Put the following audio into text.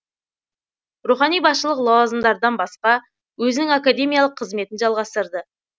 рухани басшылық лауазымдардан басқа өзінің академиялық қызметін жалғастырды